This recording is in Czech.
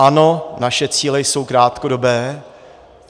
Ano, naše cíle jsou krátkodobé.